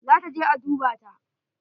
Za ta je a dubata.